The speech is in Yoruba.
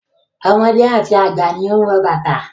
Ọmọdé àti àgbà ni ó ń wọ bàtà.